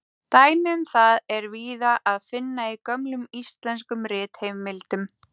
Dæmi um það er víða að finna í gömlum íslenskum ritheimildum.